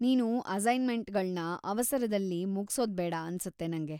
ನೀನು ಅಸೈನ್‌ಮೆಂಟ್‌ಗಳ್ನ ಅವಸರದಲ್ಲಿ ಮುಗ್ಸೋದ್ಬೇಡ ಅನ್ಸುತ್ತೆ ನಂಗೆ.